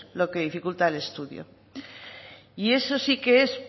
lo que dificulta el estudio y eso sí que es